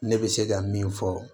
Ne bɛ se ka min fɔ